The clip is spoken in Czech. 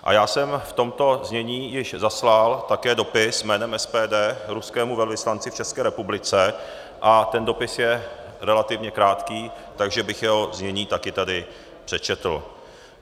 A já jsem v tomto znění již zaslal také dopis jménem SPD ruskému velvyslanci v České republice a ten dopis je relativně krátký, takže bych jeho znění také tady přečetl.